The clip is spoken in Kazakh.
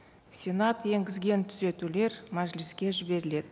сенат енгізген түзетулер мәжіліске жіберіледі